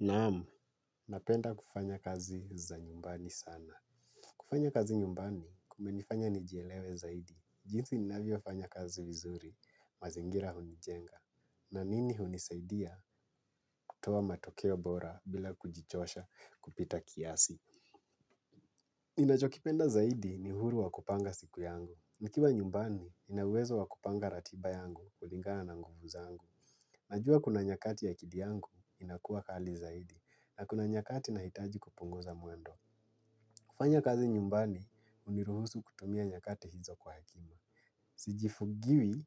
Naam, napenda kufanya kazi za nyumbani sana. Kufanya kazi nyumbani, kumenifanya nijielewe zaidi. Jinsi ninavyofanya kazi vizuri, mazingira hunijenga. Na mimi hunisaidia, kutoa matokeo bora bila kujichosha kupita kiasi. Ninachokipenda zaidi ni uhuru wa kupanga siku yangu. Nikiwa nyumbani, nina uwezo wa kupanga ratiba yangu kulingana na nguvu zangu. Najua kuna nyakati ya akili yangu inakuwa kali zaidi. Na kuna nyakati nahitaji kupunguza mwendo. Kufanya kazi nyumbani, huniruhusu kutumia nyakati hizo kwa hekima. Sijifungiwi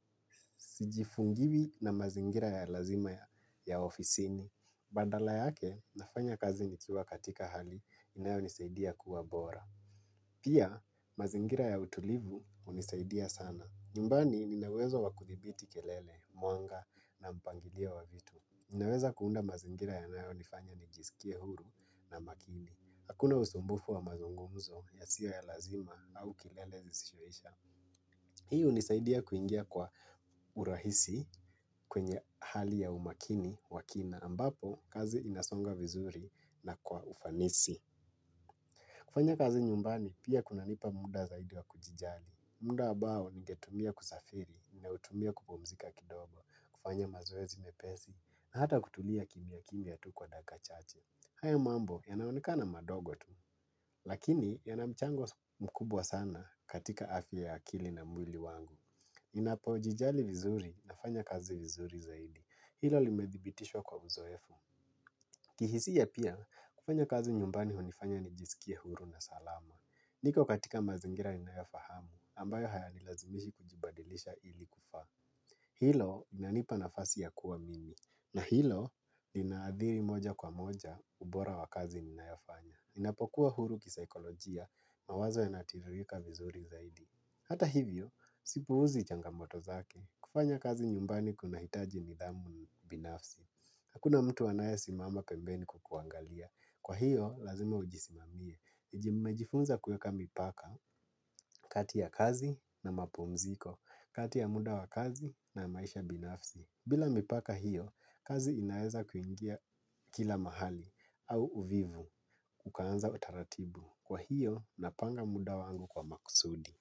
sijifungiwi na mazingira ya lazima ya ofisini. Badala yake, nafanya kazi nikiwa katika hali inayonisaidia kuwa bora. Pia, mazingira ya utulivu unisaidia sana. Nyumbani, nina uwezo wa kudhibiti kelele, mwanga na mpangilio wa vitu. Ninaweza kuunda mazingira yanayonifanya nijisikie huru na makini. Hakuna usumbufu wa mazungumzo yasiyo ya lazima au kelele zisizoisha. Hii hunisaidia kuingia kwa urahisi kwenye hali ya umakini wa kina. Ambapo, kazi inasonga vizuri na kwa ufanisi. Kufanya kazi nyumbani pia kunanipa muda zaidi wa kujijali. Muda ambao ningetumia kusafiri, ninautumia kupumzika kidogo, kufanya mazoezi mepesi, na hata kutulia kimya kimya tu kwa dakika chache. Haya mambo yanaoneka ni madogo tu, lakini yana mchango mkubwa sana katika afya ya akili na mwili wangu. Ninapojijali vizuri nafanya kazi vizuri zaidi. Hilo limedhibitishwa kwa uzoefu. Kihisia pia, kufanya kazi nyumbani hunifanya nijisikie huru na salama. Niko katika mazingira yanayofahamu ambayo hayani lazimishi kujibadilisha ili kufaa. Hilo linanipa nafasi ya kuwa mimi. Na hilo linaadhiri moja kwa moja ubora wa kazi ninayofanya. Ninapokuwa huru kisaikolojia mawazo yanatiririka vizuri zaidi. Hata hivyo, sipuuzi changamoto zake. Kufanya kazi nyumbani kuna hitaji nidhamu binafsi. Hakuna mtu anayesimama pembeni kukuangalia. Kwa hiyo, lazima ujisimamie. Nimejifunza kuweka mipaka, kati ya kazi na mapumziko, kati ya muda wa kazi na maisha binafsi. Bila mipaka hiyo, kazi inaweza kuingia kila mahali au uvivu ukaanza utaratibu. Kwa hiyo, napanga muda wangu kwa makusudi.